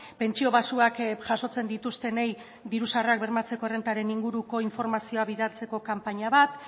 pentsio baxuak jasotzen dituztenei diru sarrerak bermatzeko errentaren inguruko informazioa bidaltzeko kanpaina bat